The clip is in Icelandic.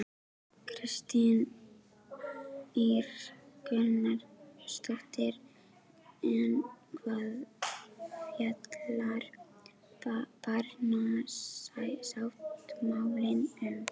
Kristín Ýr Gunnarsdóttir: En hvað fjallar barnasáttmálinn um?